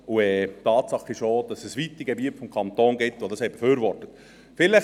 Tatsache ist, dass es weite Gebiete des Kantons gibt, die das befürwortet haben.